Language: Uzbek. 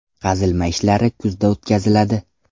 Qazilma ishlari kuzda o‘tkaziladi.